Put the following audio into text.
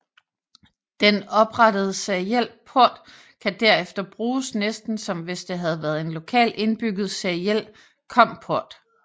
Den oprettede seriel port kan derefter bruges næsten som hvis det havde været en lokal indbygget seriel COM port